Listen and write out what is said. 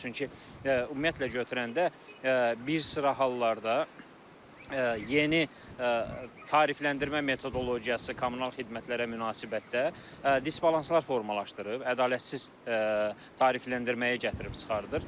Çünki ümumiyyətlə götürəndə bir sıra hallarda yeni tarifləndirmə metodologiyası kommunal xidmətlərə münasibətdə disbalanslar formalaşdırıb, ədalətsiz tarifləndirməyə gətirib çıxardır.